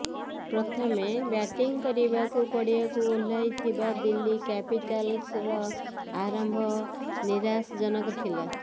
ପ୍ରଥମେ ବ୍ୟାଟିଂ କରିବାକୁ ପଡିଆକୁ ଓହ୍ଲାଇଥିବା ଦିଲ୍ଲୀ କ୍ୟାପିଟାଲ୍ସର ଆରମ୍ଭ ନିରାଶଜନକ ଥିଲା